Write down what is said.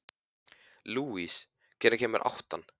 Lúis, hvenær kemur áttan?